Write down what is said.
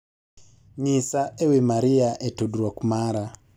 nyisa ewi Maria e tudruok mara